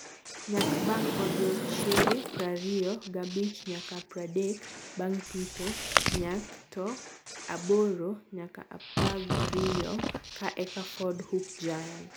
Nyak bang odiechenge prariyo gabich nyaka pradek bang pitho- Nyak: tn aboro nyaka apagriyo ka eka Ford Hook Giant